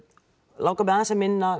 langar mig aðeins að minnast